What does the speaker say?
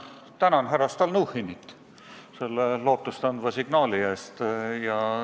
Ma tänan härra Stalnuhhinit selle lootust andva signaali eest!